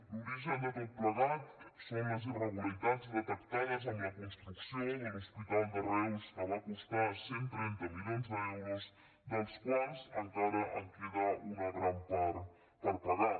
l’origen de tot plegat són les irregularitats detectades en la construcció de l’hospital de reus que va costar cent i trenta milions d’euros dels quals encara en queda una gran part per pagar